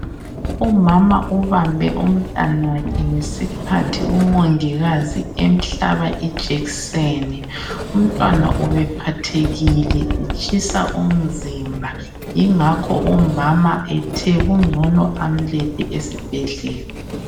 Umama ubambe umntanakhe ngesikhathi umongikazi emhlaba ijekiseni, umntwana ubephathekile etshisa umzimba yingakho umama ethe kungcono amlethe esibhedlela.